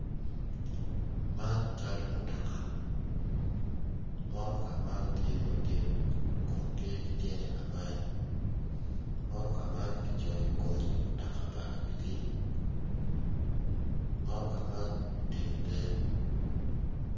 Man cal mutoka motoka man tye madit Kun tye ki tyene angwen motoka man kicoyo I kome ni mutoka pa abili motoka man otingo te.